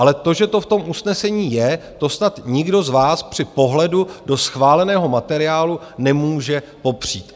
Ale to, že to v tom usnesení je, to snad nikdo z vás při pohledu do schváleného materiálu nemůže popřít.